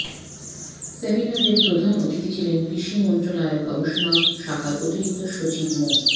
সেমিনারেরর প্রধান অতিথি ছিলেন কৃষি মন্ত্রণালয়ের গবেষণা শাখার অতিরিক্ত সচিব মো